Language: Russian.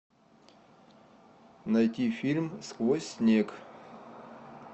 найти фильм сквозь снег